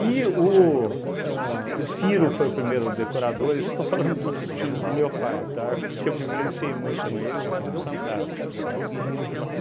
E o ahn o Ciro foi o primeiro decorador, isso estou falando dos tios do meu pai, tá, porque eu vivenciei muito com eles, eram fantásticos, tá?